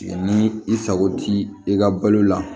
Ni i sago t'i ka balo la